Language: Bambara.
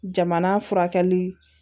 Jamana furakɛli